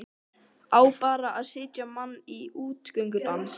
Á bara að setja mann í útgöngubann?